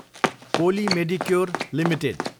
पोली Medicure Ltd